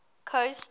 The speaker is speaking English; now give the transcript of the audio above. coast